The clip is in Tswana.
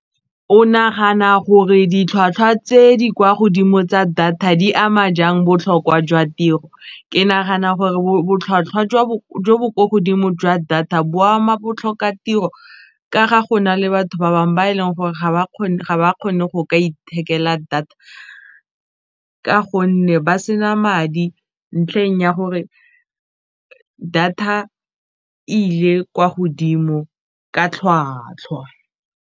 O nagana gore ditlhwatlhwa tse di kwa godimo tsa data di ama jang botlhokwa jwa tiro, ke nagana gore jo bo ko godimo jwa data bo ama botlhokatiro ka ga go na le batho ba bangwe ba e leng gore ga ba kgone go ithekela data ka gonne ba se na madi ntlheng ya gore data e ile kwa godimo ka tlhwatlhwa.